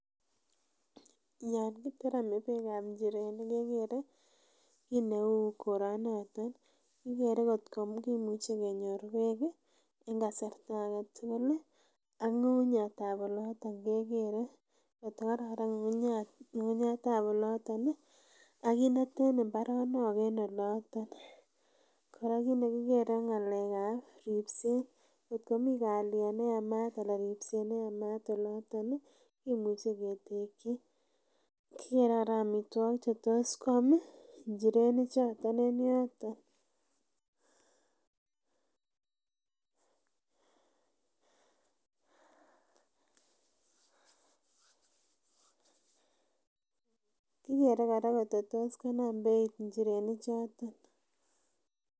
Yonkiteremi beek ab njirenik kegere kiit neu koronoton kigere gotoimuch kenyor beek en kasarta agetugul ak ngungunyat ab olotet kegere got kokararan ng'ung'unyat ab olotet agit neten imbaronok en oloton kora kiit negikere ko ng'alek kab ribset got komii kaliet neyamat anan ribset neyamat en olotet kemuche ketekyi kegere kora amitwakik chetos kwam injirenik choton en yotonkigere gotkotos konam beit kora injirenik choton.